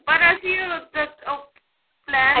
ਪਰ ਅਸੀਂ plain